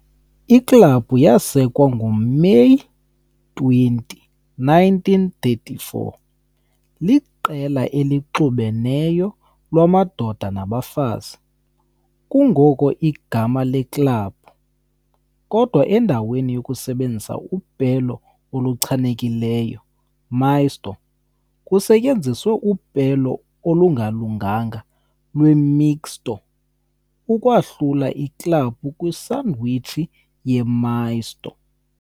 Iklabhu yasekwa ngoMeyi 20, 1934, liqela elixubeneyo lamadoda nabafazi, kungoko igama leklabhu, kodwa endaweni yokusebenzisa upelo oluchanekileyo Misto, kusetyenziswe upelo olungalunganga lweMixto, ukwahlula iklabhu kwisandwich ye-misto.